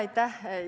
Aitäh!